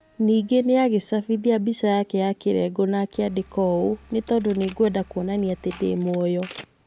Ningĩ nĩ agĩcabithia mbica yake ya kĩrengo na akĩandĩka ũũ: 'Nĩ tondũ nĩ ngwenda kuonania atĩ ndĩ muoyo.